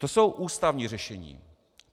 To jsou ústavní řešení.